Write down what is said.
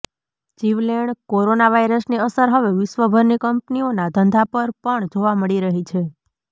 જીવલેણ કોરોના વાયરસની અસર હવે વિશ્વભરની કંપનીઓના ધંધા પર પણ જોવા મળી રહી છે